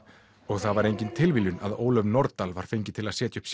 það var engin tilviljun að Ólöf Nordal var fengin til að setja upp